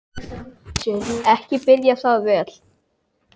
Ekki byrjar það vel!